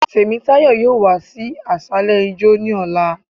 Temítàyọ́ yóò wa sí asàlẹ ijọ́, ni ọla